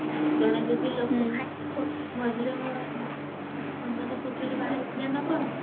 ଜଣେ ଯଦି ଲୋକ ଖାଇବା ମଝିରେ ସମ୍ବାଦ ପତ୍ରରେ ବାହାରିଥିଲା ନା କଣ